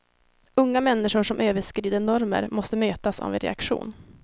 Unga människor som överskrider normer måste mötas av en reaktion.